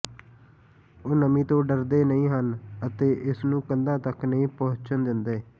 ਉਹ ਨਮੀ ਤੋਂ ਡਰਦੇ ਨਹੀਂ ਹਨ ਅਤੇ ਇਸ ਨੂੰ ਕੰਧਾਂ ਤਕ ਨਹੀਂ ਪਹੁੰਚਣ ਦਿੰਦੇ